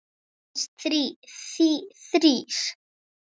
Aðeins þrír.